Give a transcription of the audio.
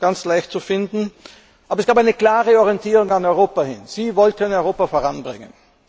ganz leicht zu finden. Aber es gab eine klare Orientierung zu Europa hin. Sie wollten Europa voranbringen.